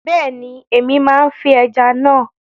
Bẹ́ẹ̀ni, Èmi máa fín ẹja náà